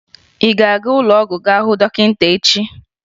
Ị ga-aga ụlọọgwụ gá hụ dọkịta echi!